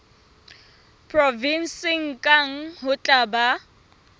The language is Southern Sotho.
provenseng kang ho tla ba